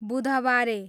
बुधबारे